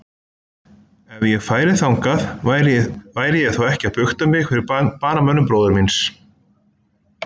Ef ég færi þangað, væri ég þá ekki að bukta mig fyrir banamönnum bróður míns?